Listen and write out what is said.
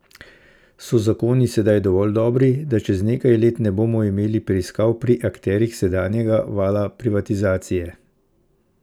So zakoni sedaj dovolj dobri, da čez nekaj let ne bomo imeli preiskav pri akterjih sedanjega vala privatizacije?